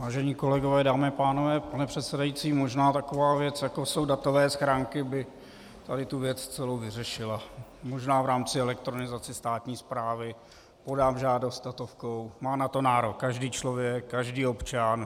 Vážení kolegové, dámy a pánové, pane předsedající, možná taková věc jako jsou datové schránky, by tady tu věc celou vyřešila, možná v rámci elektronizace státní správy - podám žádost datovkou, má na to nárok každý člověk, každý občan.